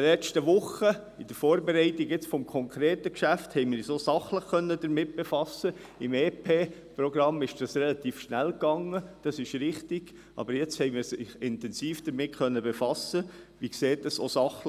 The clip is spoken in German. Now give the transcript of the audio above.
Bei der Vorbereitung des aktuellen Geschäfts in den vergangenen Wochen konnten wir uns sachlich intensiv damit befassen, anders als beim EP, wo es ziemlich